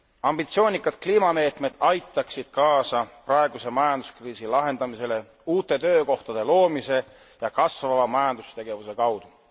Ambitsioonikad kliimameetmed aitaksid kaasa praeguse majanduskriisi lahendamisele uute töökohtade loomise ja kasvava majandustegevuse kaudu.